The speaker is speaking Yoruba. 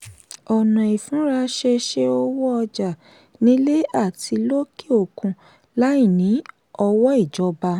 ọ̀nà ìfúnra ṣe ṣe owó ọjà nílé àti lókè òkun láì ní ọwọ́ ìjọba.